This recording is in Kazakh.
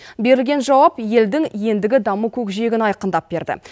берілген жауап елдің ендігі даму көкжиегін айқындап берді